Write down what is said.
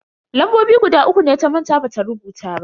Lambobi guda uku ne ta manta bata rubuta ba.